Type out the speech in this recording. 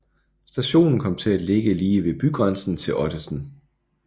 Stationen kom til at ligge lige ved bygrænsen til Ottensen